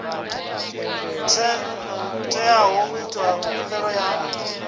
teaho u ita khumbelo ya